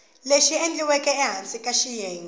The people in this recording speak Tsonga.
lexi endliweke ehansi ka xiyenge